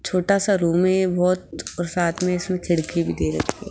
छोटा सा रूम है बहुत और साथ में इसमें खिड़की भी दे रखी है।